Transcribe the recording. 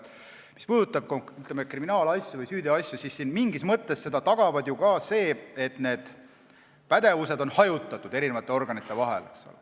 Mis puudutab kriminaalasju või süüteoasju, siis mingis mõttes tagab seda ka see, et need pädevused on hajutatud eri organite vahel.